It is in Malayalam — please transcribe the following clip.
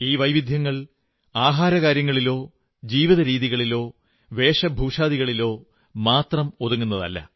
ഈ വൈവിധ്യങ്ങൾ ആഹാരകാര്യങ്ങളിലോ ജീവിതരീതികളിലോ വേഷഭൂഷാദികളിലോ മാത്രം ഒതുങ്ങുന്നതല്ല